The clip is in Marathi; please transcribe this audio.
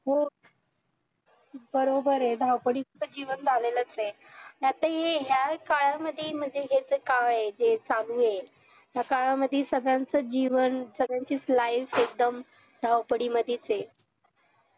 हो बरोबर आहे धावपळीच जीवन तर झालेलाच आहे आता हे या काळामध्ये म्हणजे हे जे काळ हाय जे चालू आहे या काळामध्ये सगळ्यांचं जीवन सगळ्यांची life एकदम धावपळीमध्येच आहे